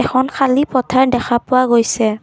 এখন খালী পথাৰ দেখা পোৱা গৈছে।